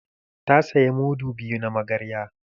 Ta saya mudu biyu na magarya